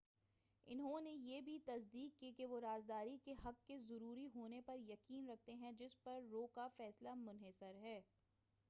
انہوں نے بھی یہ تصدیق کی کہ وہ رازداری کے حق کے ضروری ہونے پر یقین رکھتے ہیں جس پر رو کا فیصلے منحصر ہے